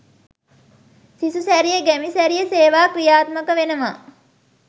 සිසු සැරිය ගැමි සැරිය සේවා ක්‍රියාත්මක වෙනවා